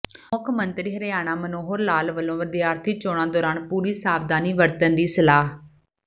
ਮੁੱਖ ਮੰਤਰੀ ਹਰਿਆਣਾ ਮਨੋਹਰ ਲਾਲ ਵੱਲੋਂ ਵਿਦਿਆਰਥੀ ਚੋਣਾਂ ਦੌਰਾਨ ਪੂਰੀ ਸਾਵਧਾਨੀ ਵਰਤਣ ਦੀ ਸਲਾਹ